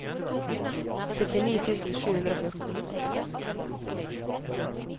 syttini tusen sju hundre og fjorten